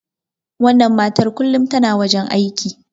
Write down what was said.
wannan matar kullum tana wajen aiki